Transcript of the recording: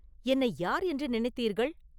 என்னை யார் என்று நினைத்தீர்கள்?